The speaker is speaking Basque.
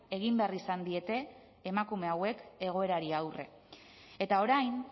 egin behar izan diete emakume hauek egoerari aurre eta orain